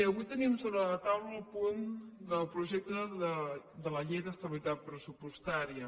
avui tenim sobre la taula el punt del projecte de la llei d’estabilitat pressupostària